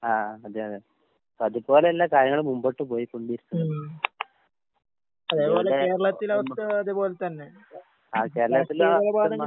ആഹ് അതെ അതെ. ഇപ്പതുപോലെയല്ല കാര്യങ്ങള് മുമ്പോട്ട് പോയിക്കൊണ്ടിരിക്കുന്നത്. അതുകൊണ്ട് ആഹ് കേരളത്തിലെ അവസ്ഥ